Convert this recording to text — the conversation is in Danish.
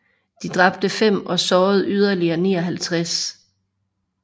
De dræbte fem og sårede yderligere 59